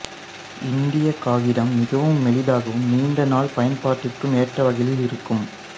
இந்திய காகிதம் மிகவும் மெலிதாகவும் நீண்ட நாள் பயன்பாட்டிற்கும் ஏற்ற வகையில் இருக்கும்